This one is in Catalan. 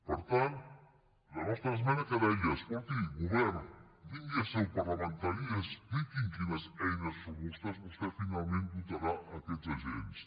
per tant la nostra esmena què deia escolti govern vingui a seu parlamentària i expliqui’m de quines eines robustes vostè finalment dotarà aquests agents